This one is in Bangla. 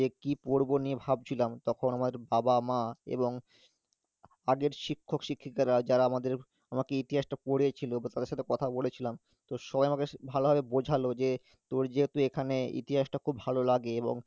সে কি পরবো নিয়ে ভাবছিলাম, তখন আমায় একটু বাবা মা এবং আগের শিক্ষক শিক্ষিকারা যারা আমাদের আমাকে ইতিহাসটা পড়িয়েছিলো তাদের সাথে কথা বলেছিলাম তো সবাই আমাকে স~ ভালোভাবে বোঝালো যে তোর যেহেতু এখানে ইতিহাসটা খুব ভালো লাগে এবং